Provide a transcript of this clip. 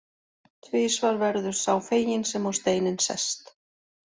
Tvisvar verður sá feginn sem á steininn sest.